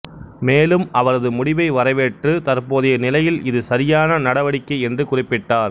மேலும் அவரது முடிவை வரவேற்று தற்போதைய நிலையில் இது சரியான நடவடிக்கை என்று குறிப்பிட்டார்